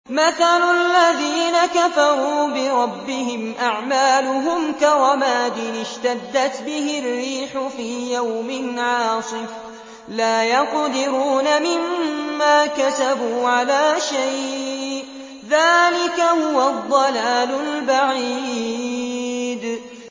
مَّثَلُ الَّذِينَ كَفَرُوا بِرَبِّهِمْ ۖ أَعْمَالُهُمْ كَرَمَادٍ اشْتَدَّتْ بِهِ الرِّيحُ فِي يَوْمٍ عَاصِفٍ ۖ لَّا يَقْدِرُونَ مِمَّا كَسَبُوا عَلَىٰ شَيْءٍ ۚ ذَٰلِكَ هُوَ الضَّلَالُ الْبَعِيدُ